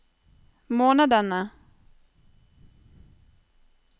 månedene